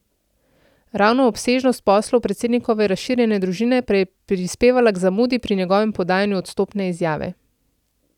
Ravno obsežnost poslov predsednikove razširjene družine pa je prispevala k zamudi pri njegovem podajanju odstopne izjave.